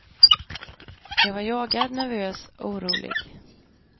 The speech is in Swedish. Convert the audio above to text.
Jag var jagad, nervös, orolig.